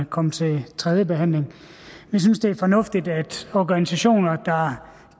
komme til tredje behandling vi synes det er fornuftigt at organisationer der